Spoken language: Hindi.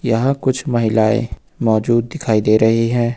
यहां कुछ महिलाएं मौजूद दिखाई दे रही है।